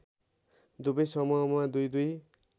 दुवै समूहमा दुईदुई